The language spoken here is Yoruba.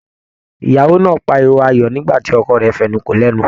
Ìyàwó náà páríwó ayọ̀ nígbàtí ọkọ rẹ fẹnu kò lẹnu.